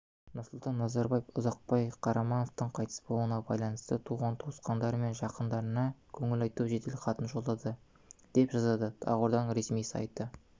нұрсұлтан назарбаев ұзақбай қарамановтың қайтыс болуына байланысты туған-туысқандары мен жақындарына көңіл айту жеделхатын жолдады деп жазады ақорданың ресми сайты